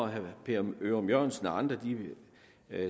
herre per ørum jørgensen og andre